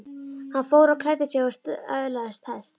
Hann fór og klæddi sig og söðlaði hest.